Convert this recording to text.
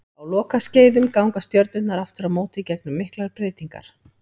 Á lokaskeiðum ganga stjörnurnar aftur á móti gegnum miklar breytingar.